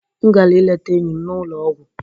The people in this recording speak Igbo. M gara ileta enyi m n'ụlọ ọgwụ